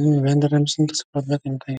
እየተንቀሳቀሰ ይመስላል።